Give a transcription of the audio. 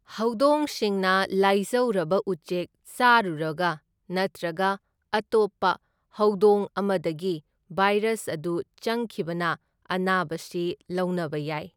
ꯍꯧꯗꯣꯡꯁꯤꯡꯅ ꯂꯥꯢꯖꯧꯔꯕ ꯎꯆꯦꯛ ꯆꯥꯔꯨꯔꯒ ꯅꯠꯇ꯭ꯔꯒ ꯑꯇꯣꯞꯄ ꯍꯧꯗꯣꯡ ꯑꯃꯗꯒꯤ ꯚꯥꯢꯔꯁ ꯑꯗꯨ ꯆꯪꯈꯤꯕꯅ ꯑꯅꯥꯕꯁꯤ ꯂꯧꯅꯕ ꯌꯥꯢ꯫